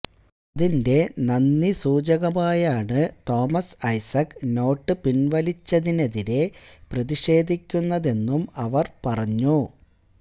അതിന്റെ നന്ദി സൂചകമായാണ് തോമസ് ഐസക്ക് നോട്ട് പിന്വലിച്ചതിനെതിരെ പ്രതിഷേധിക്കുന്നതെന്നും അവര് പറഞ്ഞു